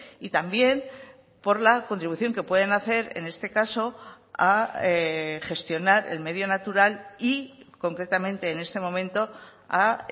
y también por la contribución que pueden hacer en este caso a gestionar el medio natural y concretamente en este momento a